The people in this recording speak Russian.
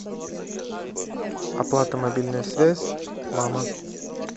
оплата мобильная связь мама